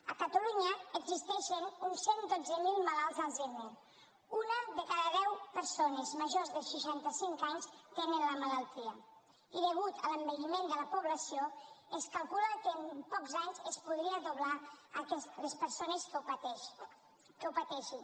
a catalunya existeixen uns cent i dotze mil malalts d’alzheimer una de cada deu persones majors de seixanta cinc anys tenen la malaltia i degut a l’envelliment de la població es calcula que en pocs anys es podria doblar les persones que ho pateixin